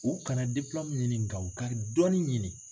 U kana ɲini nga u ka dɔnni ɲini.